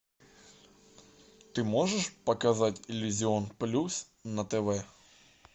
ты можешь показать иллюзион плюс на тв